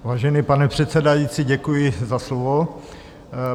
Vážený, pane předsedající, děkuji za slovo.